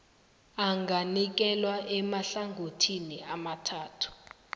anganikelwa emahlangothini amathathu